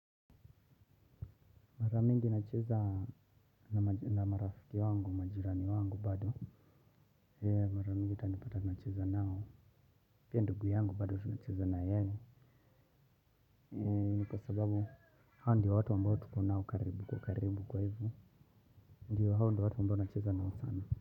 Mara mingi nacheza na marafiki wangu majirani wangu bado. Mara mingi uta nipata nacheza nao. Pia ndugu yangu bado tunacheza na yeye. Ni kwa sababu hao ndiyo watu ambao tuko nao karibu kwa karibu kwa hivo. Ndiyo hao ndiyo watu ambao nacheza nao sana.